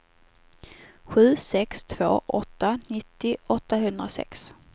sju sex två åtta nittio åttahundrasex